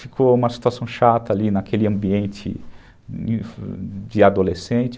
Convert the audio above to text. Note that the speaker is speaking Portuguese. Ficou uma situação chata ali naquele ambiente de adolescente.